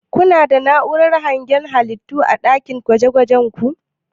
kuna da na'uran hangen ƙananan halittu a ɗakin gwajin?